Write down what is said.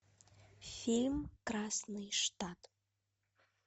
фильм красный штат